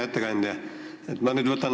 Hea ettekandja!